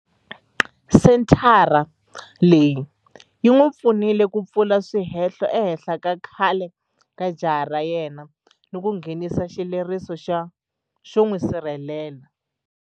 Senthara leyi yi n'wi pfunile ku pfula swihehlo ehenhla ka khale ka jaha ra yena ni ku nghenisa xileriso xo n'wi sirhelela.